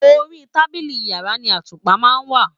Orí tábìlì yàrá ni àtùpà ma n wá